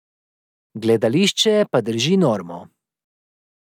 Gledališče pa drži normo.